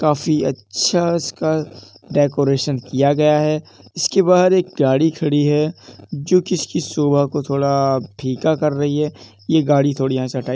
काफी अच्छा इसका डेकोरेशन किया गया है इसके बाहर एक गाडी खड़ी है जो कि इसकी शोभा को थोड़ा फीका कर रही है ये गाड़ी थोड़ी यहाँ ये हटाइ --